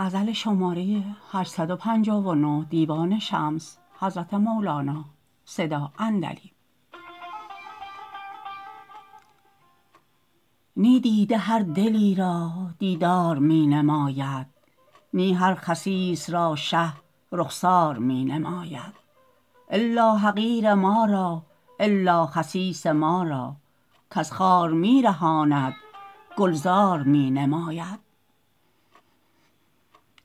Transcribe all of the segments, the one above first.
نی دیده هر دلی را دیدار می نماید نی هر خسیس را شه رخسار می نماید الا حقیر ما را الا خسیس ما را کز خار می رهاند گلزار می نماید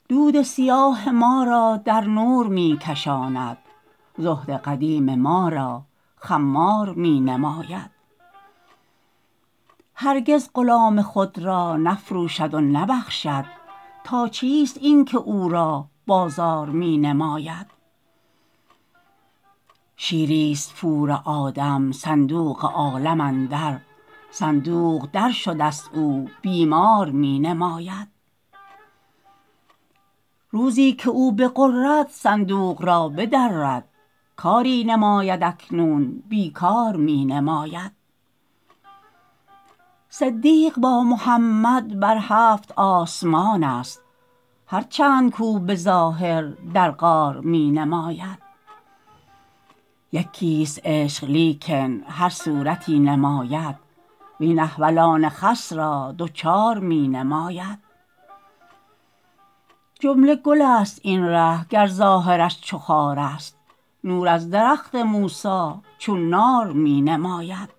دود سیاه ما را در نور می کشاند زهد قدیم ما را خمار می نماید هرگز غلام خود را نفروشد و نبخشد تا چیست اینک او را بازار می نماید شیریست پور آدم صندوق عالم اندر صندوق درشدست او بیمار می نماید روزی که او بغرد صندوق را بدرد کاری نماید اکنون بی کار می نماید صدیق با محمد بر هفت آسمانست هر چند کو به ظاهر در غار می نماید یکیست عشق لیکن هر صورتی نماید وین احولان خس را دوچار می نماید جمله گلست این ره گر ظاهرش چو خارست نور از درخت موسی چون نار می نماید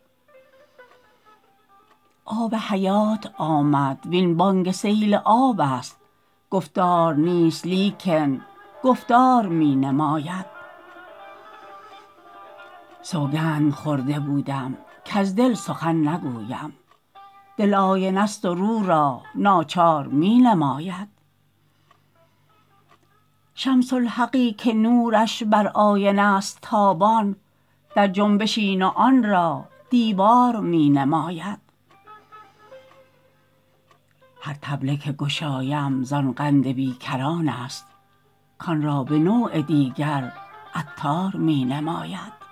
آب حیات آمد وین بانگ سیلابست گفتار نیست لیکن گفتار می نماید سوگند خورده بودم کز دل سخن نگویم دل آینه ست و رو را ناچار می نماید شمس الحقی که نورش بر آینه ست تابان در جنبش این و آن را دیوار می نماید هر طبله که گشایم زان قند بی کرانست کان را به نوع دیگر عطار می نماید